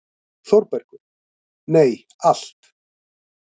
ÞÓRBERGUR: Nei, allt.